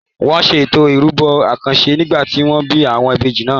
Wọn ṣe Ètò ìrúbọ àkànṣe nígbà tí wọ́n bí àwọn ìbejì náà.